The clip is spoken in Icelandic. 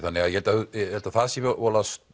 ég held að það sé voðalega